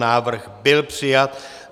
Návrh byl přijat.